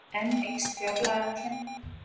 Enn eykst fjárlagahallinn